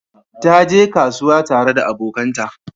Ta je kasuwa tare da abokanta.